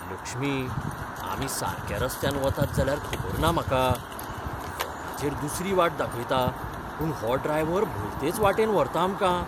लक्ष्मी, आमी सारक्या रस्त्यान वतात जाल्यार खबर ना म्हाका. फोनाचेर दुसरी वाट दाखयता, पूण हो ड्रायव्हर भलतेच वाटेन व्हरता आमकां.